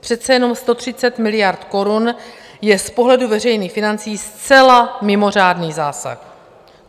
Přece jenom 130 miliard korun je z pohledu veřejných financí zcela mimořádný zásah.